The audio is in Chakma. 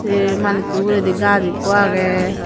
sey manussu ugredi gaas ikko agey.